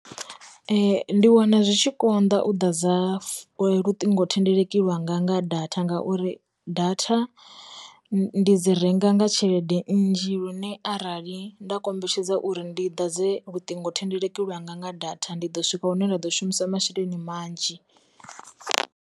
Ndi wana zwi tshi konḓa u ḓadza fu, luṱingo thendeleki lwanga nga datha ngauri, datha ndi dzi renga nga tshelede nnzhi lune arali nda kombetshedza uri ndi di dze luṱingo thendeleki lwanga nga datha ndi ḓo swika hune nda ḓo shumisa masheleni manzhi.